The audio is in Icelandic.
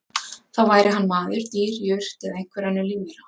Þá væri hann maður, dýr, jurt eða einhver önnur lífvera.